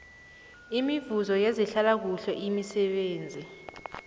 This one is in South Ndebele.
imivuzo yezehlalakuhle imisebenzi